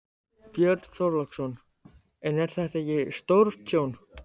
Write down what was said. Björn Þorláksson: En er þetta ekki stórtjón?